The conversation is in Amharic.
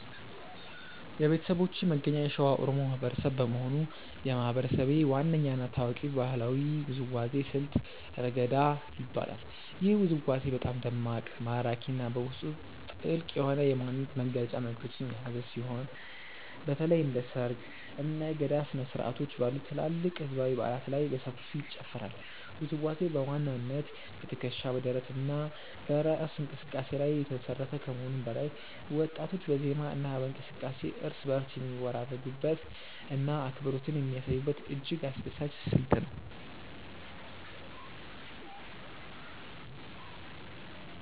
የቤተሰቦቼ መገኛ የሸዋ ኦሮሞ ማህበረሰብ በመሆኑ፣ የማህበረሰቤ ዋነኛ እና ታዋቂው ባህላዊ ውዝዋዜ ስልት "ረገዳ" ይባላል። ይህ ውዝዋዜ በጣም ደማቅ፣ ማራኪ እና በውስጡ ጥልቅ የሆነ የማንነት መግለጫ መልዕክቶችን የያዘ ሲሆን፣ በተለይም እንደ ሰርግ፣ እና የገዳ ስነ-ስርዓቶች ባሉ ትላልቅ ህዝባዊ በዓላት ላይ በሰፊው ይጨፈራል። ውዝዋዜው በዋናነት በትከሻ፣ በደረት እና በእራስ እንቅስቃሴ ላይ የተመሰረተ ከመሆኑም በላይ፣ ወጣቶች በዜማ እና በእንቅስቃሴ እርስ በእርስ የሚወራረዱበት እና አብሮነትን የሚያሳዩበት እጅግ አስደሳች ስልት ነው።